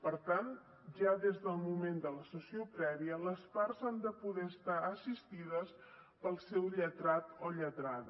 per tant ja des del moment de la sessió prèvia les parts han de poder estar assistides pel seu lletrat o lletrada